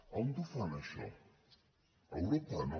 on ho fan això a europa no